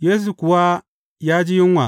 Yesu kuwa ya ji yunwa.